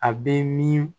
A bɛ min